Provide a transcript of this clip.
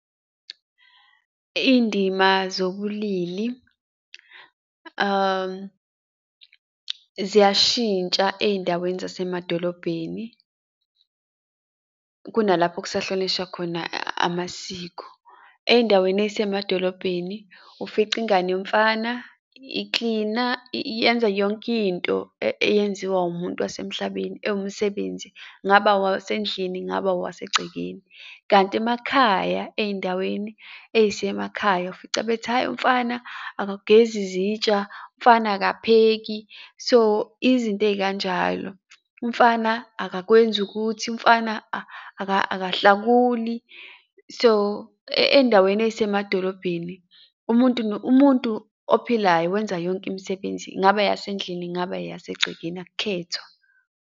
Iyindima zobulili ziyashintsha eyindaweni zasemadolobheni kunalapho okusahlonishwa khona amasiko. Eyindaweni ey'semadolobheni, ufica ingane yomfana iklina, yenza yonke into eyenziwa umuntu wasemhlabeni, ewumsebenzi ngaba owasendlini ngaba owasegcekeni. Kanti emakhaya eyindaweni ey'semakhaya ufica bethi, hhayi, umfana akagezi zitsha, umfana akapheki, so izinto ey'kanjalo. Umfana akakwenzi ukuthi, umfana akahlakuli, so endaweni ey'semadolobheni umuntu, umuntu ophilayo wenza yonke imsebenzi, ingaba eyasendlini ingaba eyasegcekeni, akukhethwa.